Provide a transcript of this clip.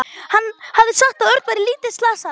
Hann hafði sagt að Örn væri lítið slasaður.